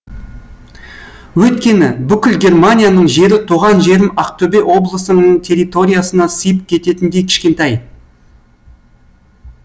өйткені бүкіл германияның жері туған жерім ақтөбе облысының территориясына сиып кететіндей кішкентай